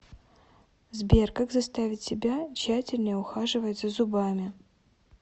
сбер как заставить себя тщательнее ухаживать за зубами